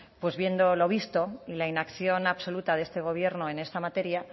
pues viendo lo visto y la inacción absoluta de este gobierno en esta materia